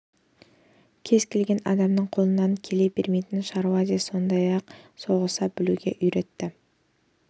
кез-келген адамның қолынан келе бермейтін шаруа де сондай-ақ соғыса білуге де үйретті